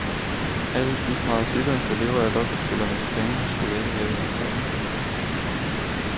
Alle de parasitter der lever af lottospillernes penge skulle ikke have en krone.